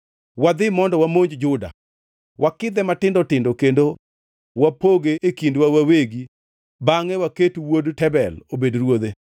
“Wadhi mondo wamonj Juda, wakidhe matindo tindo kendo wapoge e kindwa wawegi bangʼe waket wuod Tabel obed ruodhe.”